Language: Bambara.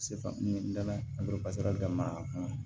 n dalen damina a kɔnɔ